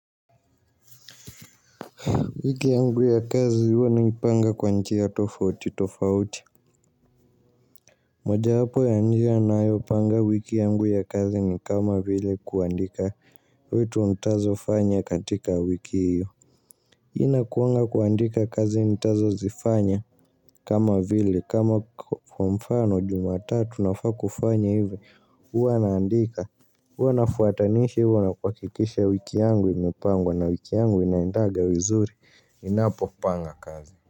Wiki yangu ya kazi huwa naipanga kwa njia tofauti tofauti. Moja yapo ya njia na yopanga wiki yangu ya kazi ni kama vile kuandika viti nitazo fanya katika wiki hiyo. Hii inakuanga kuandika kazi nitazo zifanya kama vile kama kwa mfano jumatatu nafaa kufanya hivi. Huwa naandika. Huwa nafuatanisha na kuhakikisha wiki yangu imepangwa na wiki yangu inaendaga vizuri. Ninapo panga kazi.